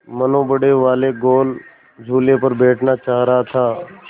मनु बड़े वाले गोल झूले पर बैठना चाह रहा था